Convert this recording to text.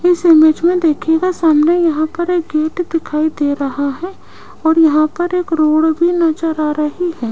इस इमेज में देखिएगा सामने यहां पर एक गेट दिखाई दे रहा है और यहां पर एक रोड भी नजर आ रही है।